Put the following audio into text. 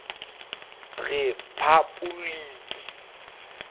rephapoliki